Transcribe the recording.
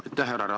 Aitäh!